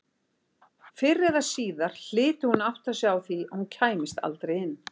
Fyrr eða síðar hlyti hún að átta sig á því að hún kæmist aldrei inn.